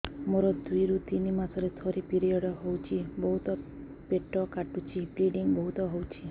ମୋର ଦୁଇରୁ ତିନି ମାସରେ ଥରେ ପିରିଅଡ଼ ହଉଛି ବହୁତ ପେଟ କାଟୁଛି ବ୍ଲିଡ଼ିଙ୍ଗ ବହୁତ ହଉଛି